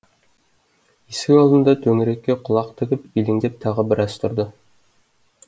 есік алдында төңірекке құлақ тігіп елеңдеп тағы біраз тұрды